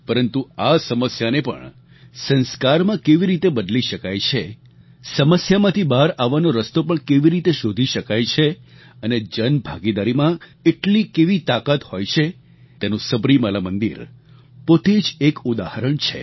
પરંતુ આ સમસ્યાને પણ સંસ્કારમાં કેવી રીતે બદલી શકાય છે સમસ્યામાંથી બહાર આવવાનો રસ્તો પણ કેવી રીતે શોધી શકાય છે અને જનભાગીદારીમાં એટલી કેવી તાકાત હોય છે તેનું સબરીમાલા મંદિર પોતે જ એક ઉદાહરણ છે